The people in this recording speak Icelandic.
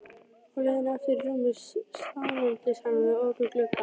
Á leiðinni aftur í rúmið staðnæmdist hann við opinn gluggann.